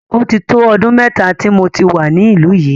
Ó ti tó ọdún mẹ́ta tí mo ti wà ní ìlú yìí.